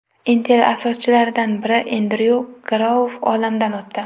Intel asoschilaridan biri Endryu Grouv olamdan o‘tdi.